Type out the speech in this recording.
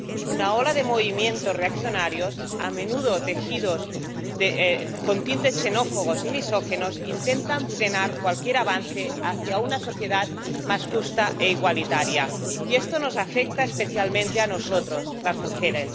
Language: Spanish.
Una ola de movimientos reaccionarios, a menudo teñidos con tintes xenófobos y misóginos, intenta frenar cualquier avance hacia una sociedad más justa e igualitaria, y esto nos afecta especialmente a nosotras, las mujeres.